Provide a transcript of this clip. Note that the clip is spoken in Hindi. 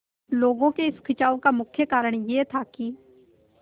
लोगों के इस खिंचाव का मुख्य कारण यह था कि